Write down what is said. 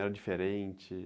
Era diferente?